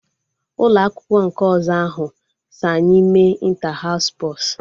Ụlọ akwụkwọ nke ọzọ ahụ so anyị mee ịnta haụs spọs